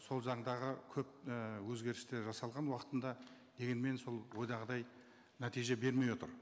сол заңдағы көп і өзгерістер жасалған уақытында дегенмен сол ойдағыдай нәтиже бермей отыр